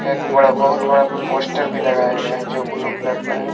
एक बड़ा बहुत बड़ा पोस्टर भी लगाया गया है जो ब्लू कलर का है।